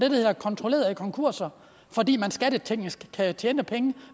hedder kontrollerede konkurser fordi man skatteteknisk kan tjene penge